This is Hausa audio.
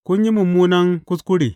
Kun yi mummunan kuskure!